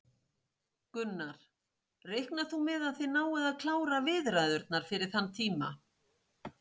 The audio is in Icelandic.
Gunnar: Reiknar þú með að þið náið að klára viðræðurnar fyrir þann tíma?